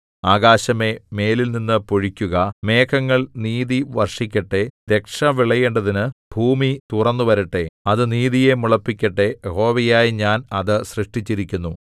ആകാശമേ മേലിൽനിന്നു പൊഴിക്കുക മേഘങ്ങൾ നീതി വർഷിക്കട്ടെ രക്ഷ വിളയേണ്ടതിനു ഭൂമി തുറന്നുവരട്ടെ അത് നീതിയെ മുളപ്പിക്കട്ടെ യഹോവയായ ഞാൻ അത് സൃഷ്ടിച്ചിരിക്കുന്നു